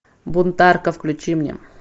бунтарка включи мне